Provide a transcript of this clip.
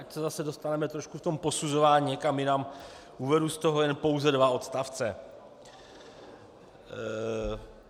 Ať se zase dostaneme trochu v tom posuzování někam jinam, uvedu z toho jen pouze dva odstavce.